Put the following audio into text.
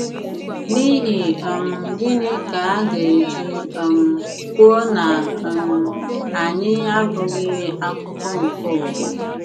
N’ihi um gịnị ka aga eji um kwuo na um anyị “ abụghị akụkụ nke ụwa ”??